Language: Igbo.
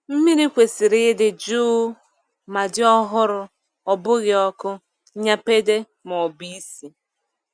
Mmiri kwesịrị ịdị jụụ ma dị ọhụrụ-ọ bụghị ọkụ, nnyapade, maọbụ isi.